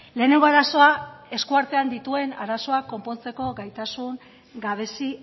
lehenengo arazoa eskuartean dituen arazoak konpontzeko gaitasun gabezi